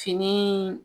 Fini